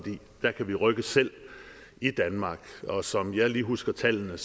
der kan vi rykke selv i danmark og som jeg lige husker tallene